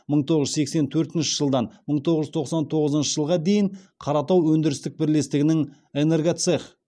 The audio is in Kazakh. мың тоғыз жүз сексен төртінші жылдан мың тоғыз жүз тоқсан тоғызыншы жылға дейін қаратау өндірістік бірлестігінің энергоцех